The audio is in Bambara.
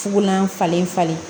Fulan falen falen